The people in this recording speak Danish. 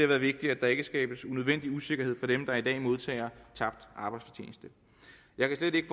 været vigtigt at der ikke skabes unødvendig usikkerhed for dem der i dag modtager tabt arbejdsfortjeneste jeg kan slet ikke